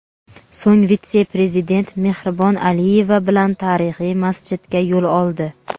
So‘ng vitse-prezident Mehribon Aliyeva bilan tarixiy masjidga yo‘l oldi.